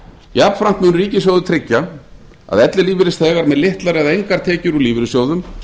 jafnframt mun ríkissjóður tryggja að ellilífeyrisþegar með litlar eða engar tekjur úr lífeyrissjóðum